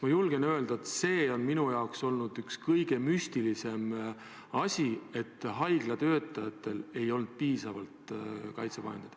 Ma julgen öelda, et see on minu jaoks olnud üks kõige müstilisem fakt, et haiglatöötajatel ei olnud piisavalt kaitsevahendeid.